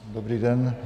Dobrý den.